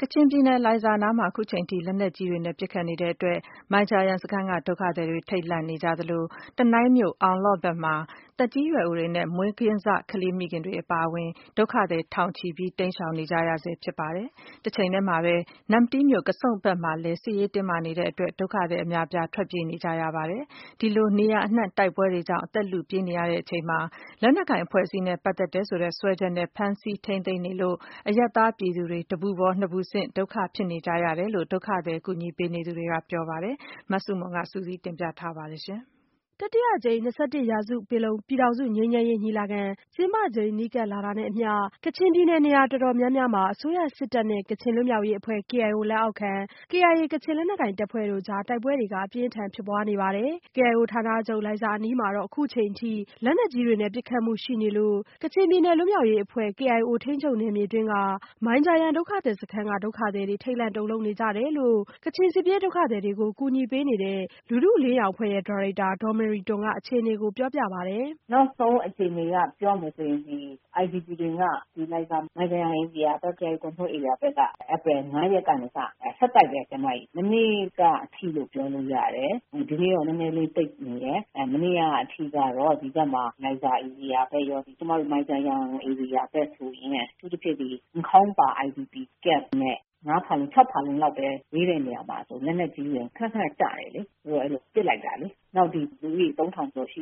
ကချင်ပြည်နယ် လိုင်ဇာအနီးမှာ အခုအချိန်ထိ လက်နက်ကြီးတွေနဲ့ ပစ်ခတ်မှုတွေရှိနေတဲ့အတွက် မိုင်ဂျာယန်စခန်းကဒုက္ခသည်တွေ ထိတ်လန့်နေကြသလို တနိုင်းမြို့ အောင်လော့ဘက်မှာ သက်ကြီးရွယ်အိုတွေနဲ့မွေးကင်းစကလေးမိခင်တွေအပါအဝင် ဒုက္ခသည်ထောင်ချီ တိမ်းရှောင်နေကြရဆဲ ဖြစ်ပါတယ်။ တချိန်တည်းမှာပဲ နမ္မတီးမြို့ ကဆုန့်ဘက်မှာလည်း စစ်ရေးတင်းမာနေတဲ့အတွက် ဒုက္ခသည်အများအပြား ထွက်ပြေးနေကြရပါတယ်။ ဒီလိုနေရာအနှံ့ တိုက်ပွဲတွေကြောင့် အသက်လုပြေးနေရချိန်မှာပဲ လက်နက်ကိုင်အဖွဲ့အစည်းနဲ့ ပတ်သက်တယ်ဆိုတဲ့ စွဲချက်နဲ့ ဖမ်းဆီးထိန်းသိမ်းနေလို့ အရပ်သားပြည်သူတွေမှာ တပူပေါ်နှစ်ပူဆင့်ဒုက္ခဖြစ်နေကြရတယ်လို့ ဒုက္ခသည်ကူညီပေးနေသူတွေကပြောပါတယ်။ မဆုမွန် စုစည်းတင်ပြထားပါတယ်။ တတိယအကြိမ် ၂၁ရာစုပင်လုံ ပြည်ထောင်စုငြိမ်းချမ်းရေးညီလာခံ ကျင်းပချိန် နီးကပ်လာတာနဲ့အမျှ ကချင်ပြည်နယ် နေရာတော်တော်များများမှာ အစိုးရစစ်တပ်နဲ့ ကချင်လွတ်မြောက်ရေးအဖွဲ့ KIO လက်အောက်ခံ KIA ကချင်လက်နက်ကိုင်တပ်ဖွဲ့တို့ကြား တိုက်ပွဲတွေ အပြင်းထန်ဖြစ်ပွားနေပါတယ်။ KIO ဌာနချုပ် လိုင်ဇာအနီးမှာတော့ အခုအချိန်အထိ လက်နက်ကြီးတွေနဲ့ပစ်ခတ်မှုရှိနေလို့ ကချင်ပြည်နယ်လွတ်မြောက်ရေးအဖွဲ့ ထိန်းချုပ်နယ်မြေအတွင်းက မိုင်ဂျာယန်ဒုက္ခသည်စခန်းတွင်းက ဒုက္ခသည်တွေ ထိတ်လန့်တုန်လှုပ်နေကြတယ်လို့ ကချင်စစ်ပြေး ဒုက္ခသည်တွေကို ကူညီပေးနေတဲ့ လူထုအလင်းရောင်အဖွဲ့ရဲ့ ဒါရိုက်တာ ဒေါ်မေရီတွမ်က အခြေအနေကို ပြောပြပါတယ်။ "နောက်ဆုံးအခြေအနေအရ ပြောရမယ်ဆိုရင် IDP တွေက လိုင်ဇာ မိုင်ဂျာယန် KIO Control ဧရိယာမှာ ဧပြီ ၅ရက်နေ့ကနေစပြီး ဆက်တိုက်ပါပဲ မနေ့ကအထိလို့ပြောလို့ရပါတယ်။ ဒီနေ့တော့ နည်းနည်းလေး တိတ်နေတယ်။ မနေ့ကအထိကတော့ လိုင်ဇာဧရိယာဘက်ရော ကျမတို့ မိုင်ဂျာယန်ဧရိယာဘက်ဆိုရင် အထူးသဖြင့် နန့်ခေါင်ပါး IDP ကမ့်နဲ့ ငါးဖာလုံ ခြောက်ဖာလုံ ပဲ ဝေးတဲ့နေရာမှာ လက်နက်ကြီးတွေက ခနခန ကျတယ် ဟိုဘက်က ပစ်လိုက်တာလေ။ နောက် လူဦးရေ သုံးထောင်လောက်ပဲ ရှိ